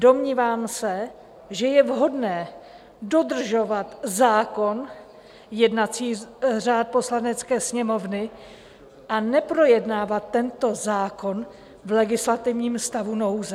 Domnívám se, že je vhodné dodržovat zákon, jednací řád Poslanecké sněmovny, a neprojednávat tento zákon v legislativním stavu nouze.